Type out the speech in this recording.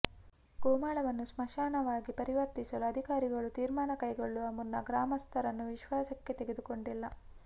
ಗೋಮಾಳವನ್ನು ಸ್ಮಶಾನವಾಗಿ ಪರಿವರ್ತಿಸಲು ಅಧಿಕಾರಿಗಳು ತೀರ್ಮಾನ ಕೈಗೊಳ್ಳುವ ಮುನ್ನ ಗ್ರಾಮಸ್ಥರನ್ನು ವಿಶ್ವಾಸಕ್ಕೆ ತೆಗೆದುಕೊಂಡಿಲ್ಲ